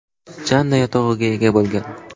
Janna yotog‘iga ega bo‘lgan.